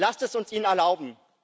Lasst es uns ihnen erlauben!